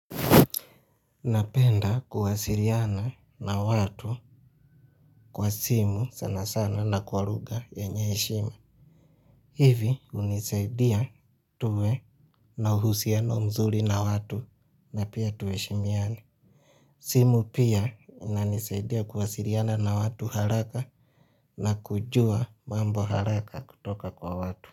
Napenda kuwasiliana na watu kwa simu sana sana na kwa lugha yenye heshima. Hivi hunisaidia tuwe na uhusiano mzuri na watu na pia tuheshimiane. Simu pia inanisaidia kuwasiliana na watu haraka na kujua mambo haraka kutoka kwa watu.